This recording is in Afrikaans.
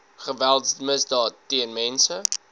geweldsmisdaad teen mense